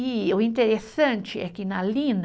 E o interessante é que na Lina,